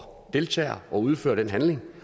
deltager og udfører den handling